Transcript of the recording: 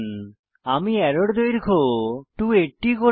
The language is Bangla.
আমি অ্যারোর দৈর্ঘ্য 280 করব